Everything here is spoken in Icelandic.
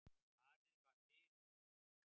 Farið var fyrir